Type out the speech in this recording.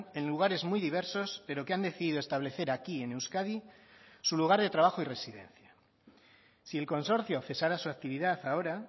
en lugares muy diversos pero que han decidido establecer aquí en euskadi su lugar de trabajo y residencia si el consorcio cesara su actividad ahora